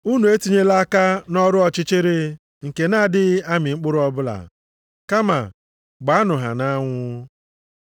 Unu etinyela aka nʼọrụ ọchịchịrị nke na-adịghị amị mkpụrụ ọbụla, kama gbaanụ ha nʼanwụ.